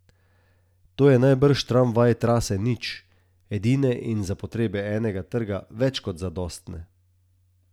To je najbrž tramvaj trase nič, edine in za potrebe enega trga več kot zadostne.